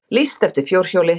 Lýst eftir fjórhjóli